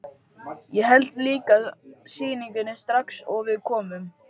Ég hélt líka sýningu strax og við komum.